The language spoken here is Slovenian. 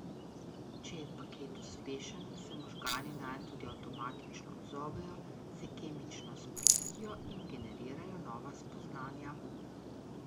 Če je paket uspešen, se možgani nanj tudi avtomatično odzovejo, se kemično sprostijo in generirajo nova spoznanja.